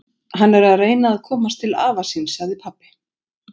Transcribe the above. Hann er að reyna að komast til afa síns, sagði pabbi.